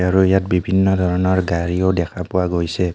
আৰু ইয়াত বিভিন্ন ধৰণৰ গাড়ীও দেখা পোৱা গৈছে.